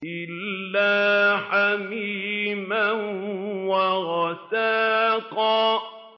إِلَّا حَمِيمًا وَغَسَّاقًا